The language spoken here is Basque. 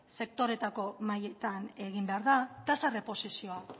sektoreetako mahaietan egin behar da tasa erreposizioa